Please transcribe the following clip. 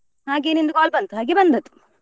ಹಾಗೆ ನಿಂದು call ಬಂತು ಹಾಗೆ ಬಂದದ್ದು.